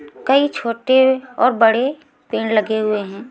कई छोटे और बड़े पेड़ लगे हुए हैं।